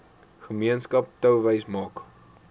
gemeenskap touwys maak